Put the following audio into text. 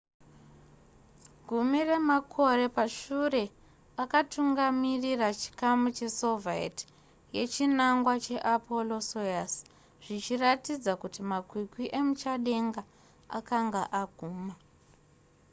gumi remakore pashure akatungamirira chikamu chesoviet yechinangwa cheapollo-soyuz zvichiratidza kuti makwikwi emuchadenga akanga aguma